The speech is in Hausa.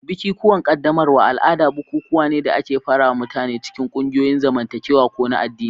Bikikuwan qaddamarwa al'ada bukukuwa ne da ke fara mutane cikin ƙungiyoyin zamantakewa ko na addini.